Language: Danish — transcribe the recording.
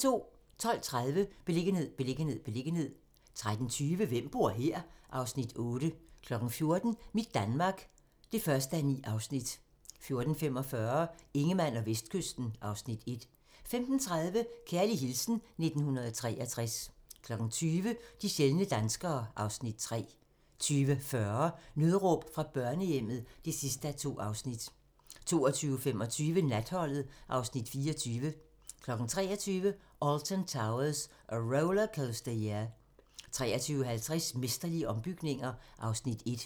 12:30: Beliggenhed, beliggenhed, beliggenhed 13:20: Hvem bor her? (Afs. 8) 14:00: Mit Danmark (1:9) 14:45: Ingemann og Vestkysten (Afs. 1) 15:30: Kærlig hilsen 1963 20:00: De sjældne danskere (Afs. 3) 20:40: Nødråb fra børnehjemmet (2:2) 22:25: Natholdet (Afs. 24) 23:00: Alton Towers - A Rollercoaster Year 23:50: Mesterlige ombygninger (Afs. 1)